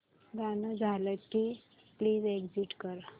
गाणं झालं की प्लीज एग्झिट कर